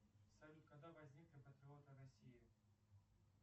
салют когда возникли патриоты россии